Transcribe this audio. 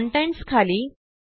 contents खाली